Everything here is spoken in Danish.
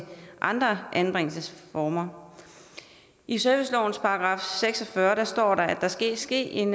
andre anbringelsesformer i servicelovens § seks og fyrre står der at der skal ske en